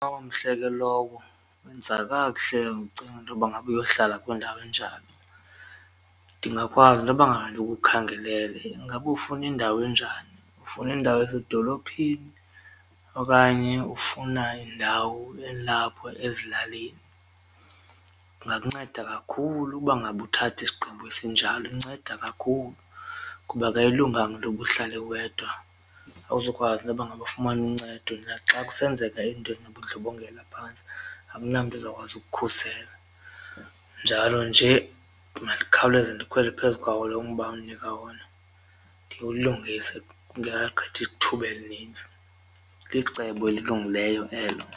Omhle ke lowo wenza kakuhle ucinge intoba ngaba uyohlala kwindawo enjalo ndingakwazi intoba ngaba ndikukhangelele, ingaba ufuna indawo enjani ufuna indawo esedolophini okanye ufuna indawo elapho ezilalini. Kungakunceda kakhulu ukuba ngaba uthatha isigqibo esinjalo inceda kakhulu kuba ke ayilunganga intoba uhlale wedwa awuzukwazi intoba ngaba ufumane uncedo naxa kusenzeka izinto ezinobundlobongela phantsi akunamtu uzawukwazi ukukukhusela njalo nje mandikhawuleze ndikhwele phezu kwawo lo mba undinika wona ndiwulungise kungekagqithi thuba elinintsi. Licebo elilungileyo elo.